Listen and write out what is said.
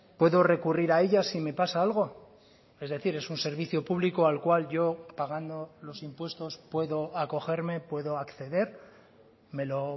puedo recurrir a ella si me pasa algo es decir es un servicio público al cual yo pagando los impuestos puedo acogerme puedo acceder me lo